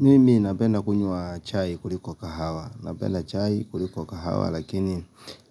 Mimi napenda kunywa chai kuliko kahawa Napenda chai kuliko kahawa lakini